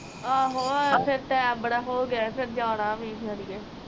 ਆਹੋ ਫਿਰ ਟੇਅਮ ਬੜਾ ਹੋ ਗਿਆ, ਫਿਰ ਜਾਣਾ